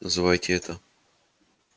называйте это